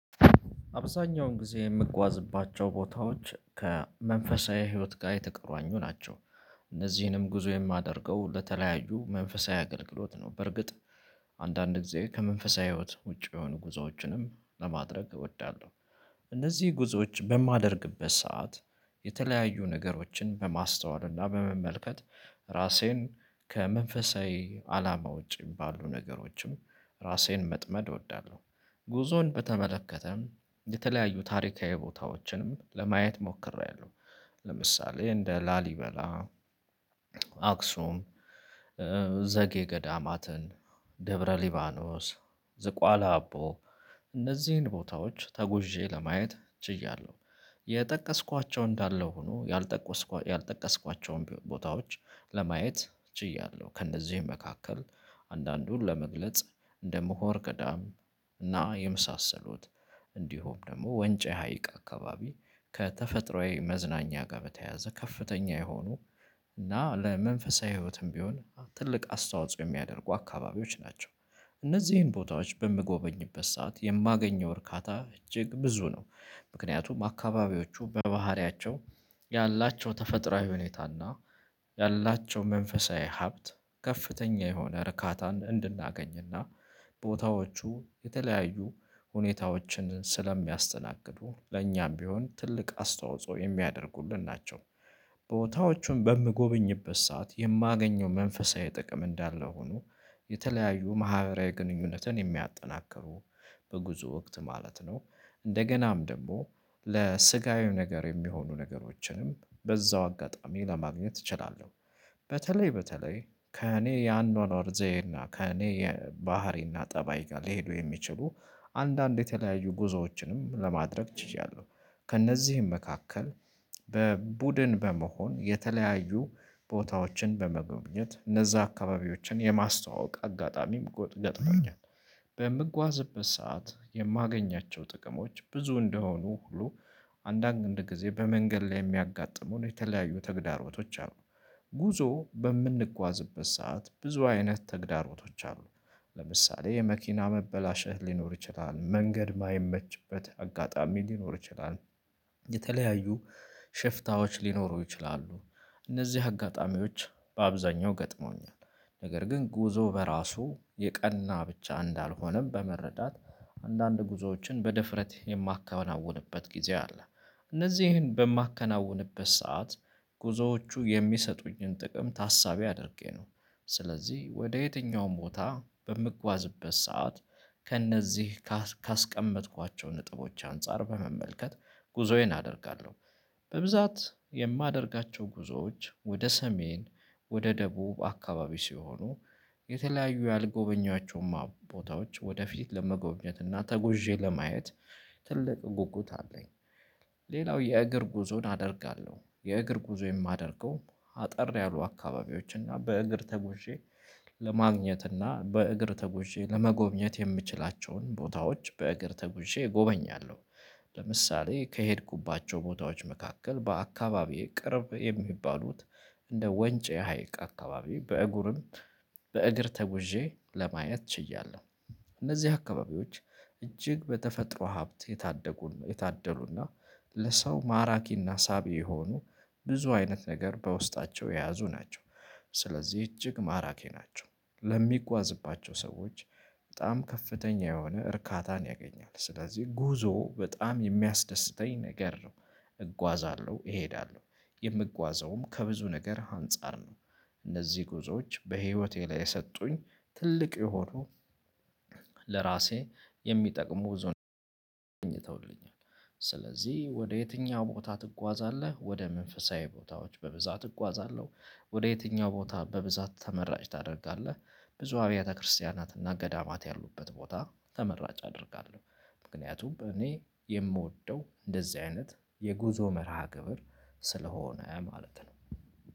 አብዛኛውን ጊዜ የምጓዝባቸው ቦታዎች ከመንፈሳዊ ህይወት ጋር የተቆራኙ ናቸው። እነዚህንም ጉዞ የማደርገው ለተለያዩ መንፈሳዊ አገልግሎት ነው። በርግጥ አንዳንድ ጊዜ ከመንፈሳዊ ህይወት ውጪ የሆኑ ጉዞዎችንም ለማድረግ እወዳለሁ። እነዚህ ጉዞዎች በማደርግበት ሰዓት የተለያዩ ነገሮችን በማስተዋል እና በመመልከት ራሴን ከመንፈሳዊ አላማ ውጪ የሚባሉ ነገሮችም ራሴን መጥመድ እወዳለሁ። ጉዞን በተመለከተም የተለያዩ ታሪካዊ ቦታዎችንም ለማየት ሞክሬያለሁ። ለምሳሌ እንደ ላሊበላ አክሱም ዘጌ ገዳማትን ደብረ ሊባኖስ ዝቋላ አቦ እነዚህን ቦታዎች ተጉዤ ለማየት ችያለሁ። የጠቀስኳቸው እንዳለው ሆኖ ያልጠቀስኳቸውን ቦታዎች ለማየት ችያለሁ። ከእነዚህ መካከል አንዳንዱን ለመግለጽ እንደ ምሁር ቀዳም እና የመሳሰሉት እንዲሁም ደግሞ ወንጪ ሀይቅ አካባቢ ከተፈጥሮአዊ መዝናኛ ጋር በተያያዘ ከፍተኛ የሆኑ እና ለመንፈሳዊ ህይወትም ቢሆን ትልቅ አስተዋጽኦ የሚያደርጉ አካባቢዎች ናቸው። እነዚህን ቦታዎች በምጎበኝበት ሰዓት የማገኘው እርካታ እጅግ ብዙ ነው። ምክንያቱም አካባቢዎቹ በባህሪያቸው ያላቸው ተፈጥሮአዊ ሁኔታና ያላቸው መንፈሳዊ ሀብት ከፍተኛ የሆነ እርካታን እንድናገኝና ቦታዎቹ የተለያዩ ሁኔታዎችን ስለሚያስተናግዱ ለእኛም ቢሆን ትልቅ አስተዋጽኦ የሚያደርጉልን ናቸው። ቦታዎቹን በምጎብኝበት ሰዓት የማገኘው መንፈሳዊ ጥቅም እንዳለ ሆኖ የተለያዩ ማህበራዊ ግንኙነትን የሚያጠናክሩ በጉዞ ወቅት ማለት ነው። እንደገናም ደግሞ ለስጋዊው ነገር የሚሆኑ ነገሮችንም በዛው አጋጣሚ ለማግኘት እችላለሁ። በተለይ በተለይ ከእኔ የአኗኗር ዘይና ከእኔ የባህሪና ጠባይ ጋር ሊሄዱ የሚችሉ አንዳንድ የተለያዩ ጉዞዎችንም ለማድረግ ችያለሁ። ከእነዚህም መካከል በቡድን በመሆን የተለያዩ ቦታዎችን በመጎብኘት እነዛ አካባቢዎችን የማስተዋወቅ አጋጣሚም ገጥሞኛል። በምጓዝበት ሰዓት የማገኛቸው ጥቅሞች ብዙ እንደሆኑ ሁሉ አንዳንድ ጊዜ በመንገድ ላይ የሚያጋጥሙን የተለያዩ ተግዳሮቶች አሉ። ጉዞ በምንጓዝበት ሰዓት ብዙ አይነት ተግዳሮቶች አሉ። ለምሳሌ የመኪና መበላሸት ሊኖር ይችላል መንገድ የማይመችበት አጋጣሚ ሊኖር ይችላል። የተለያዩ ሽፍታዎች ሊኖሩ ይችላሉ። እነዚህ አጋጣሚዎች በአብዛኛው ገጥመውኛል ነገር ግን ጉዞ በራሱ የቀና ብቻ እንዳልሆነም በመረዳት አንዳንድ ጉዞዎችን በድፍረት የማከናውንበት ጊዜ አለ። እነዚህን በማከናውንበት ሰዓት ጉዞዎቹ የሚሰጡኝን ጥቅም ታሳቢ አድርጌ ነው። ስለዚህ ወደ የትኛውም ቦታ በምጓዝበት ሰዓት ከእነዚህ ካስቀመጥኳቸው ነጥቦች አንፃር በመመልከት ጉዞዬን አደርጋለሁ። በብዛት የማደርጋቸው ጉዞዎች ወደ ሰሜን ወደ ደቡብ አካባቢ ሲሆኑ። የተለያዩ ያልጎበኘዋቸውንም ቦታዎች ወደፊት ለመጎብኘት እና ተጎዤ ለማየት ትልቅ ጉጉት አለኝ። ሌላው የእግር ጉዞን አደርጋለሁ የእግር ጉዞ የማደርገው አጠር ያሉ አካባቢዎች እና በእግር ተጎዤ ለማግኘት እና በእግር ተጉዤ ለመጎብኘት የምችላቸውን ቦታዎች በእግር ተጉዤ ጎበኛለሁ። ለምሳሌ ከሄድኩባቸው ቦታዎች መካከል በአካባቢዬ ቅርብ የሚባሉት እንደ ወንጭ ሀይቅ አካባቢ በእግሩም በእግር ተጉዤ ለማየት ችያለሁ። እነዚህ አካባቢዎች እጅግ በተፈጥሮ ሀብት የታደጉን የታደሉና ለሰው ማራኪና ሳቢ የሆኑ ብዙ አይነት ነገር በውስጣቸው የያዙ ናቸው። ስለዚህ እጅግ ማራኪ ናቸው። ለሚጓዝባቸው ሰዎች በጣም ከፍተኛ የሆነ እርካታን ያገኛል ስለዚህ ጉዞ በጣም የሚያስደስተኝ ነገር ነው። እጓዛለሁ እሄዳለሁ የምጓዘውም ከብዙ ነገር አንፃር ነው። እነዚህ ጉዞዎች በህይወቴ ላይ የሰጡኝ ትልቅ የሆኑ ለራሴ የሚጠቅሙ ጉዞ ይገኝተውልኛል። ስለዚህ ወደ የትኛው ቦታ ትጓዛለህ ወደ መንፈሳዊ ቦታዎች በብዛት እጓዛለሁ። ወደ የትኛው ቦታ በብዛት ተመራጭ ታደርጋለህ? ብዙ አብያተ ክርስቲያናት እና ገዳማት ያሉበት ቦታ ተመራጭ አደርጋለሁ። ምክንያቱም እኔ የምወደው እንደዚህ አይነት የጉዞ መርሃ ግብር ስለሆነ ማለት ነው።